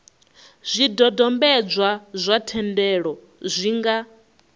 zwidodombedzwa zwa thendelo zwi nga